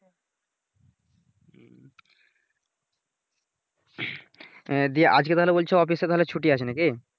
হ্যাঁ দি আজকে তাহলে বলছো office তাহলে ছুটি আছে নাকি?